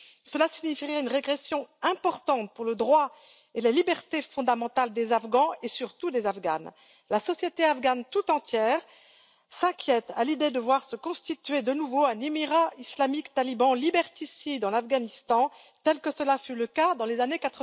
Cela signifierait une régression importante pour le droit et la liberté fondamentale des Afghans et surtout des Afghanes. La société afghane tout entière s'inquiète à l'idée de voir se constituer, de nouveau, un Émirat islamique taliban liberticide en Afghanistan, tel que cela fut le cas dans les années